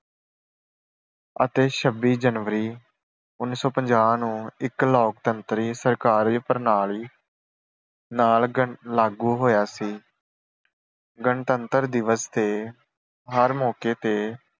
ਅਤੇ ਛੱਬੀ ਜਨਵਰੀ ਉਨੀ ਸੌ ਪੰਜਾਹ ਨੂੰ ਇੱਕ ਲੋਕਤੰਤਰੀ ਸਹਿਕਾਰੀ ਪ੍ਰਣਾਲੀ ਨਾਲ ਲਾਗੂ ਹੋਇਆ ਸੀ। ਗਣਤੰਤਰ ਦਿਵਸ ਤੇ ਹਰ ਮੌਕੇ ਤੇ